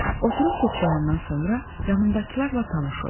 Oturub toxdayandan sonra yanımdakılarla tanış oldum.